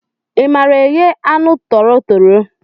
I maara eghe aṅụ toro tọrọ?